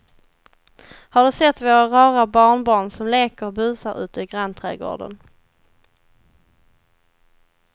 Har du sett våra rara barnbarn som leker och busar ute i grannträdgården!